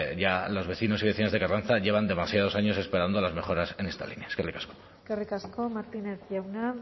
ya los vecinos y vecinas de carranza llevan demasiados años esperando las mejoras en esta línea eskerrik asko eskerrik asko martínez jauna